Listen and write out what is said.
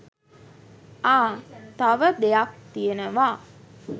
ආ! තව දෙයක් තියෙනවා